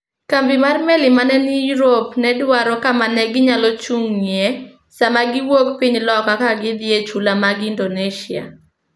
Kambi mar meli ma ne ni Europe ne dwaro kama ne ginyalo chung'ie sama giwuok Piny loka ka gidhi e chula mag Indonesia.